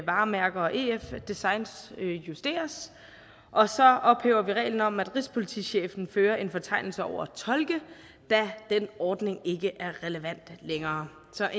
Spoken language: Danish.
varemærker og ef designs justeres og så ophæver vi reglen om at rigspolitichefen fører en fortegnelse over tolke da den ordning ikke er relevant længere så